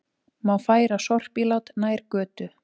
Má færa sorpílát nær götu